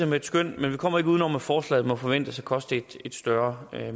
med et skøn men vi kommer ikke udenom at forslaget må forventes at koste et større